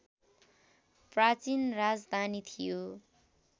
प्राचीन राजधानी थियो